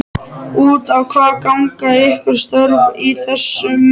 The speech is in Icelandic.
Út á hvað ganga ykkar störf í þessum geira?